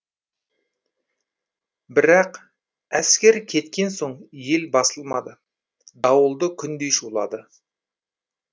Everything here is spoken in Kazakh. бірақ әскер кеткен соң ел басылмады дауылды күндей шулады